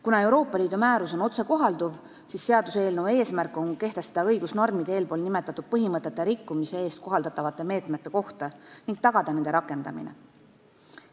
Kuna Euroopa Liidu määrus on otsekohalduv, siis seaduseelnõu eesmärk on kehtestada õigusnormid eespool nimetatud põhimõtete rikkumise eest kohaldatavate meetmete kohta ning tagada nende rakendamine.